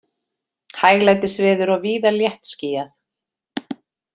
Hæglætisveður og víða léttskýjað